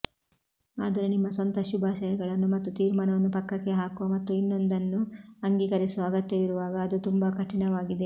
ಆದರೆ ನಿಮ್ಮ ಸ್ವಂತ ಶುಭಾಶಯಗಳನ್ನು ಮತ್ತು ತೀರ್ಮಾನವನ್ನು ಪಕ್ಕಕ್ಕೆ ಹಾಕುವ ಮತ್ತು ಇನ್ನೊಂದನ್ನು ಅಂಗೀಕರಿಸುವ ಅಗತ್ಯವಿರುವಾಗ ಅದು ತುಂಬಾ ಕಠಿಣವಾಗಿದೆ